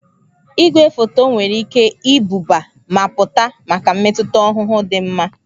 Igwefoto nwere ike ibuba ma pụta maka mmetụta ọhụhụ dị mma.